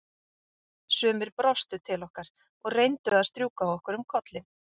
Sumir brostu til okkar og reyndu að strjúka okkur um kollinn.